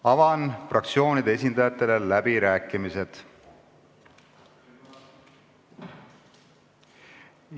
Avan fraktsioonide esindajate läbirääkimised.